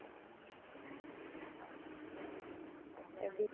எப்பிடி